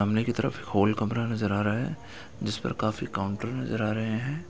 सामने की तरफ हॉल कमरा नजर आ रहा है जिस पर काफी काउंटर नजर आ रहे है।